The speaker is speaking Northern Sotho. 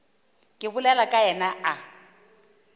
ke bolelago ka yena a